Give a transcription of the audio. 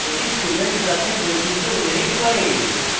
এটি student class বৈশিষ্ট্য inherits করে